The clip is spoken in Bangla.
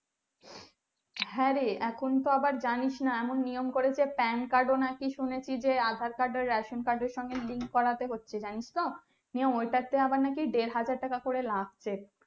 হ্যাঁ রে এখুন তো আবার জানিস না নিয়ম করেছে PANcard ও নাকি শুনেছি যে Aadhar card এর সঙ্গে Ration card এর link করতে হচ্ছে জানিস তো ওটাতে নাকি আবার দেড়হাজার টাকা করে লাগছে